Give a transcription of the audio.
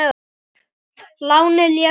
Lánið lék við okkur.